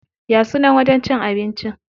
Ya sunan wajen cin abincin?